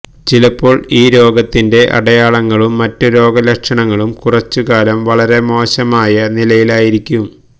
ചിലപ്പോൾ ഈ രോഗത്തിന്റെ അടയാളങ്ങളും മറ്റ് രോഗലക്ഷണങ്ങളും കുറച്ചുകാലം വളരെ മോശമായ നിലയിലായിരിക്കും